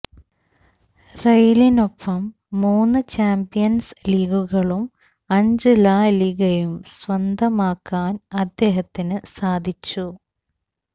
റയലിനൊപ്പം മൂന്നു ചാംപ്യന്സ് ലീഗുകളും അഞ്ച് ലാ ലിഗയും സ്വന്തമാക്കാന് അദ്ദേഹത്തിനു സാധിച്ചു